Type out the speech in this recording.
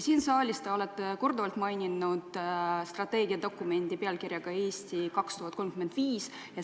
Siin saalis te olete korduvalt maininud strateegiadokumenti pealkirjaga "Eesti 2035".